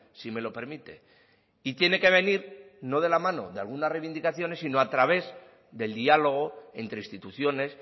si me lo permite y tiene que venir no de la mano de algunas reivindicaciones sino a través del diálogo entre instituciones